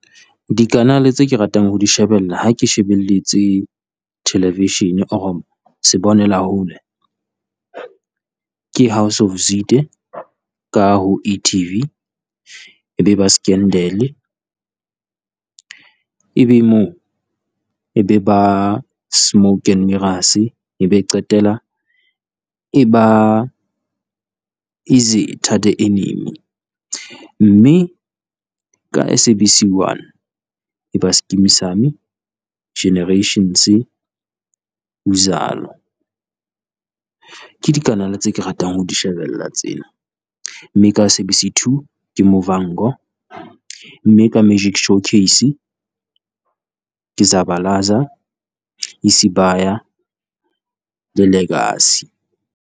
Dikanale le tse ke ratang ho di shebella ha ke shebelletse television, or-re se bonela hole. Ke House of Zwide ka ho e-TV, e be ba Scandal-e, ebe moo e be ba Smoke and Mirrors e be qetela e ba Izitha, The Enemy. Mme ka S_A_B_C one e ba Skeem Saam, Generations, Uzalo, ke dikanale tse ke ratang ho di shebella tseo. Mme ka S_A_B_C two ke Muvhango, mme ka Magic Showcase ke Zabalaza, Isibaya The Legacy.